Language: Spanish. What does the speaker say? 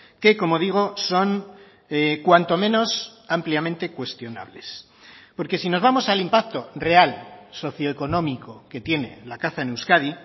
que como digo son cuanto menos ampliamente cuestionables porque si nos vamos al impacto real socioeconómico que tiene la caza en euskadi